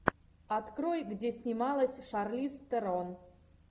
открой где снималась шарлиз терон